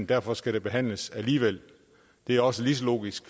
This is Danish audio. derfor skal behandles alligevel det er også lige så logisk